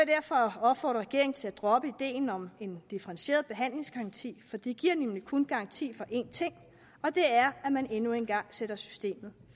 derfor opfordre regeringen til at droppe ideen om en differentieret behandlingsgaranti for det giver nemlig kun garanti for én ting og det er at man endnu en gang sætter systemet